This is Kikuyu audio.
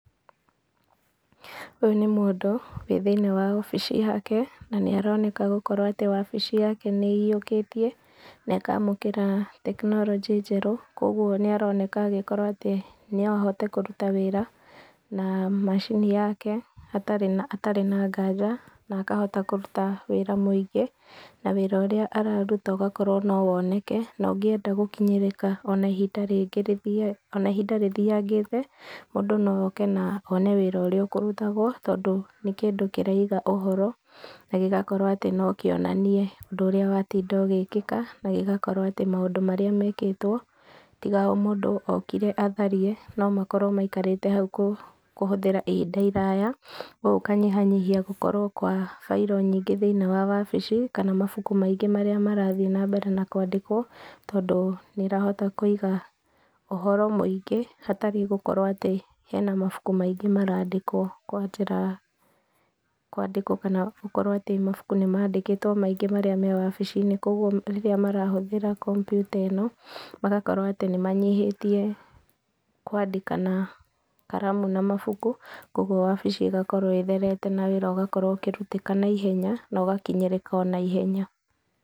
Ũyũ nĩ mũndũ wĩ thĩiniĩ wa obici yake, na nĩaroneka gũkorwo atĩ wabici yake nĩ aĩyiũkĩtie, na ĩkamũkĩra tekinologĩ njerũ, koguo nĩ, ĩroneka no ahote kũruta wĩra na macini yake hatarĩ na nganja, na akahota kũruta wĩra mũingĩ, na wĩra ũrĩa araruta, ũgakorwo no woneke, na ũngĩenda gũkinyĩrĩka ona ihinda rĩthiangĩte, mũndũ no oke na one wĩra ũrĩa ũkũrutagwo tondũ nĩ kĩndũ ĩraiga ũhoro, na gĩgakorwo no kĩonanie ũndũ ũrĩa watinda ũgĩkĩa, na gĩgakorwo atĩ maũndũ marĩa mekĩtwo, tiga o mũndũ okire atharie, no makorwo maikarĩte hau kũhũthĩra hĩndĩ ndaya, koguo gũkanyihia nyihia gũkorwo kwa bairo nyingĩ thĩĩiniĩ wa ofici, kana mabukumaingĩ marĩa marathiĩ na mbere na kwandĩkwo, tondũ nĩ ũrahota kũiga ũhoro mũingĩ hatarĩ gũkorwo atĩ hena mabuku maingĩ marandikwo kwa njĩra, kwandĩkwo kana gũkorwo atĩ mabuku nĩ mandĩkĩtwo maingĩ marĩa me wabici-inĩ, koguo rĩrĩa marahũthĩra kompiuta-ĩno, magakorwo atĩ nĩ manyihĩtie kwandika na karamu na mabuku, koguo wabici ĩgakorwoĩtherete na wĩra ũkĩrutĩka na ihenya na ũgakinyĩrĩka o na ihenya.